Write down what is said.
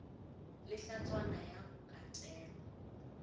le hlatswana ya go katelwa